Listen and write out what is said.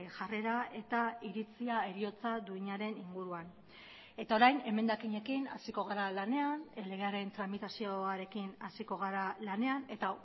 jarrera eta iritzia heriotza duinaren inguruan eta orain emendakinekin hasiko gara lanean legearen tramitazioarekin hasiko gara lanean eta